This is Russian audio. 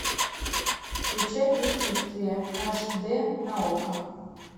включай предчувствие аш д на окко